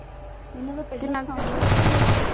ਕਿੰਨਾਂ ਕਿ ਚਿਰ ਹੋਇਆ